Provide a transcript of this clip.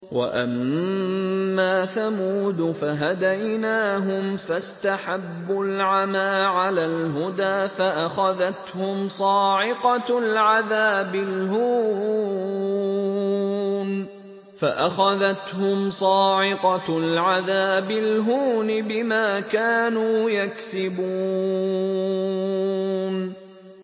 وَأَمَّا ثَمُودُ فَهَدَيْنَاهُمْ فَاسْتَحَبُّوا الْعَمَىٰ عَلَى الْهُدَىٰ فَأَخَذَتْهُمْ صَاعِقَةُ الْعَذَابِ الْهُونِ بِمَا كَانُوا يَكْسِبُونَ